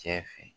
Cɛ fɛ